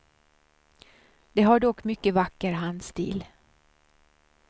De har dock mycket vacker handstil.